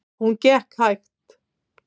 Hún gekk hægt.